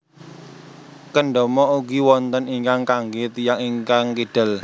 Kendama ugi wonten ingkang kanggé tiyang ingkang kidal